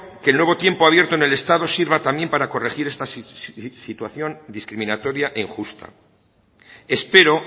que el nuevo tiempo abierto en el estado sirva también para corregir esta situación discriminatoria e injusta espero